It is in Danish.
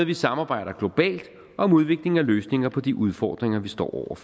vi samarbejder globalt om udvikling af løsninger på de udfordringer vi står over